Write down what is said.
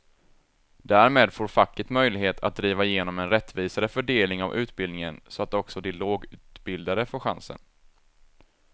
Därmed får facket möjlighet att driva igenom en rättvisare fördelning av utbildningen så att också de lågutbildade får chansen.